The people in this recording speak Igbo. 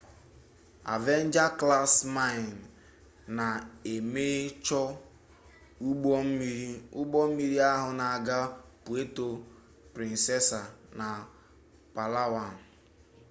avenger class mine na emesho ugbommiri ugbommiri ahu n'aga puerto princessa na palawan